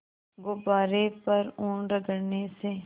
गुब्बारे पर ऊन रगड़ने से